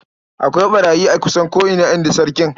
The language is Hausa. "Akwai ɓarayi a kusan ko'ina", in ji sarkin.